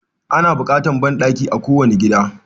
Ana bukatar banɗaki a kowane gida